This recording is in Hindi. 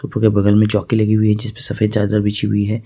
फोटो के बगल में चौकी लगी हुई है जिसपे सफेद चादर बिछी हुई है।